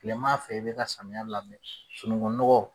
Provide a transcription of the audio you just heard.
Tilema fɛ i bɛ ka samiyɛ labɛn sununkunnɔgɔ